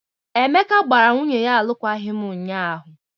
Emeka gbara nwunye ya alụkwaghị m ụnyaahụ.